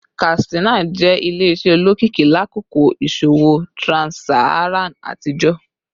Katsina jẹ ile-iṣẹ olokiki lakoko iṣowo trans-Saharan atijọ